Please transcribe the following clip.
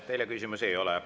Teile küsimusi ei ole.